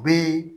U bɛ